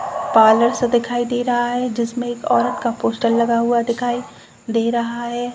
Parlour सा दिखाई दे रहा है जिसमें एक औरत का पोस्टर लगा हुआ दिखाई दे रहा है।